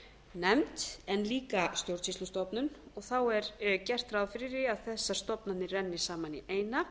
nefnd en líka stjórnsýslustofnun og þá er gert ráð fyrir því að þessar stofnanir renni saman í eina